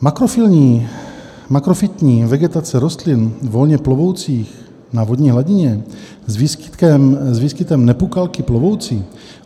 Makrofytní vegetace rostlin volně plovoucích na vodní hladině s výskytem nepukalky plovoucí.